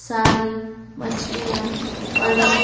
सारी मछलियां पड़ी।